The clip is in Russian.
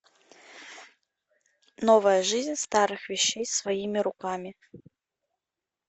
новая жизнь старых вещей своими руками